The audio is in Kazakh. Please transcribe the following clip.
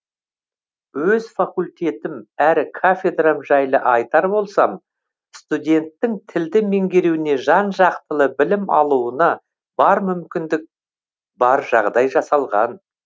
өз факультетім әрі кафедрам жайлы айтар болсам студенттің тілді меңгеруіне жан жақтылы білім алуына бар мүмкіндік бар жағдай жасалған